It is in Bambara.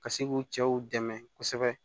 Ka se k'u cɛw dɛmɛ kosɛbɛ